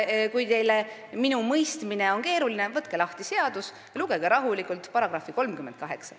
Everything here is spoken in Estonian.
Kui minu mõistmine on teie jaoks keeruline, siis võtke lahti seadus ja lugege rahulikult § 38.